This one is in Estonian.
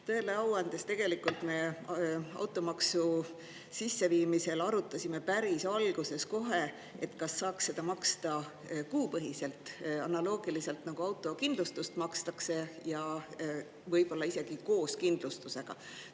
Tõele au andes tegelikult me automaksu sisseviimisel arutasime päris alguses kohe, kas saaks seda maksta kuupõhiselt, analoogiliselt, nagu autokindlustust makstakse ja võib-olla isegi koos kindlustusega.